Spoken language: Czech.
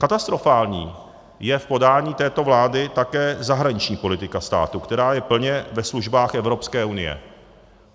Katastrofální je v podání této vlády také zahraniční politika státu, která je plně ve službách Evropské unie.